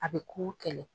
A bɛ kogo kɛlɛ